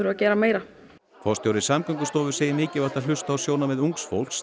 að gera meira forstjóri Samgöngustofu segir mikilvægt að hlusta á sjónarmið ungs fólks